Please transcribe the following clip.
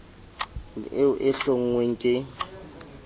le eo e hlonngweng ke